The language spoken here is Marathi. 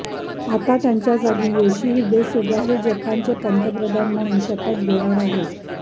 आता त्यांच्या जागी योशिहिदे सुगा हे जपानचे नवे पंतप्रधान म्हणून शपथ घेणार आहेत